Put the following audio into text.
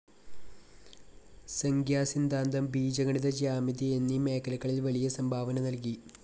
സംഖ്യാസിദ്ധാന്തം, ബീജഗണിത ജിയോമെട്രി എന്നീ മേഖലകളിൽ വലിയ സംഭാവന നൽകി.